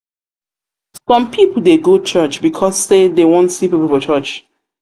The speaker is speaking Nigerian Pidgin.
some people de go church because say dem won see pipo for church